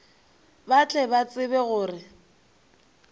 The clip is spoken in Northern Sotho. ba tle ba tsebe gore